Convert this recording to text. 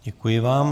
Děkuji vám.